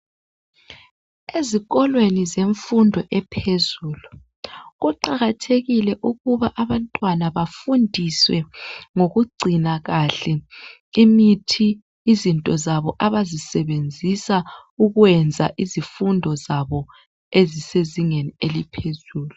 Ezikolweni zemfundo ephezulu kuqakathekile ukuba abantwana bafundiswe ngokugcina kahle imithi izinto zabo abazisebenzisa ukwenza izifundo zabo ezisezingeni eliphezulu.